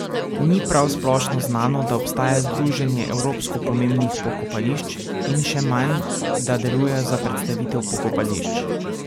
Ni prav splošno znano, da obstaja Združenje evropsko pomembnih pokopališč, in še manj, da delujejo za predstavitev pokopališč.